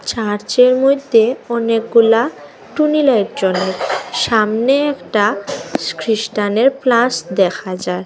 Church -এর মইদ্যে অনেকগুলা টুনি লাইট জ্বলে সামনে একটা খ্রিষ্টান -এর প্লাস দেখা যায়।